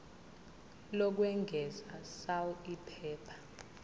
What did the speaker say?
lokwengeza sal iphepha